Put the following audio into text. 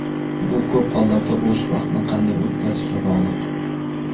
Bu ko‘p hollarda bo‘sh vaqtni qanday o‘tkazishga bog‘liq.